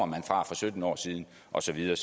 man fra for sytten år siden og så videre